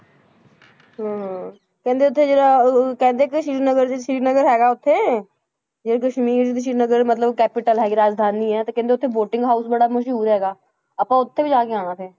ਹਮ ਕਹਿੰਦੇ ਉੱਥੇ ਜਿਹੜਾ ਉਹ ਕਹਿੰਦੇ ਕਿ ਸ੍ਰੀ ਨਗਰ ਜੋ ਸ੍ਰੀ ਨਗਰ ਹੈਗਾ ਉੱਥੇ ਜਿਹੜਾ ਕਸ਼ਮੀਰ ਵਿੱਚ ਸ੍ਰੀ ਨਗਰ ਮਤਲਬ capital ਹੈਗੀ ਰਾਜਧਾਨੀ ਆ, ਤੇ ਕਹਿੰਦੇ ਉੱਥੇ boating house ਬੜਾ ਮਸ਼ਹੂਰ ਹੈਗਾ, ਆਪਾਂ ਉੱਥੇ ਵੀ ਜਾ ਕੇ ਆਉਣਾ ਫਿਰ